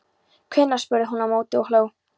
Hvenær? spurði hún á móti og hló.